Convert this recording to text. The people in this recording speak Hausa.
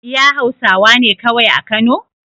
iya hausawane kawai a kano